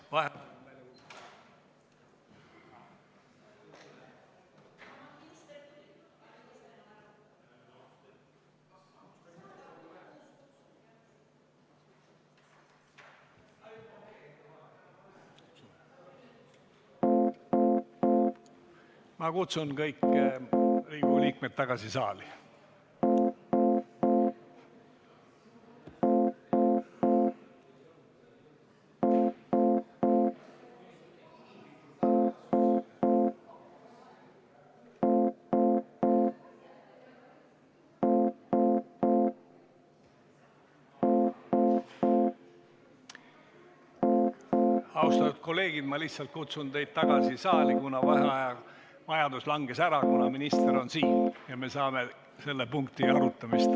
V a h e a e g